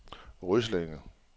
Ryslinge